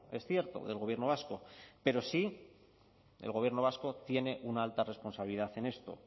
es cierto del gobierno vasco pero sí el gobierno vasco tiene una alta responsabilidad en esto